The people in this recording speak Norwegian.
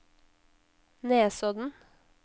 Nesodden